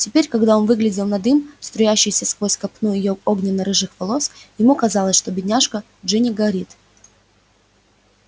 теперь когда он выглядел на дым струящийся сквозь копну её огненно-рыжих волос ему казалось что бедняжка джинни горит